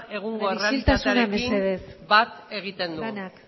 egungo errealitatearekin bat egiten du bai isiltasuna mesedez